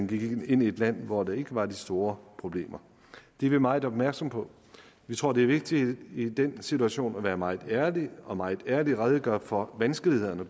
vi gik ind i et land hvor der ikke var de store problemer det er vi meget opmærksomme på vi tror det er vigtigt i den situation at være meget ærlige og meget ærligt redegøre for vanskelighederne